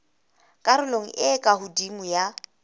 karolong e ka hodimo ya